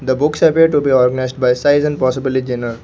The books away to be organised by size and possibly genre.